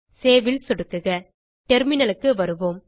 Saveல் சொடுக்குக terminalக்கு வருவோம்